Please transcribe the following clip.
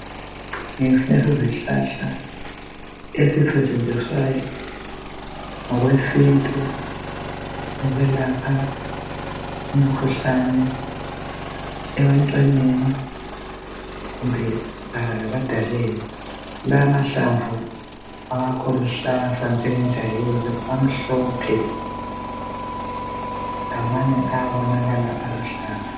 Ngesinye sezihlahla esisetshenziswayo ngokwesintu ukwelapha imikhuhlane ebantwaneni kumbe ebadaleni. La mahlamvu awakho luhlaza njengenjayelo amhlophe lamanye ayabonakala aluhlaza.